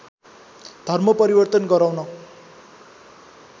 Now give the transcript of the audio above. धर्म परिवर्तन गराउन